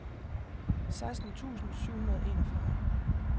seksten tusind syv hundrede og enogfyrre